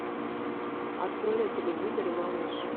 открой на телевизоре малыш